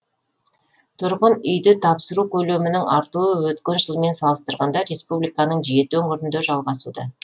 тұрғын үйді тапсыру көлемінің артуы өткен жылмен салыстырғанда республиканың жеті өңірінде жалғасуда